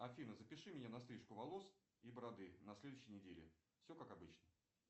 афин запиши меня на стрижку волос и бороды на следующей неделе все как обычно